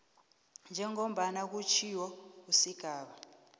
njengombana kutjhiwo kusigaba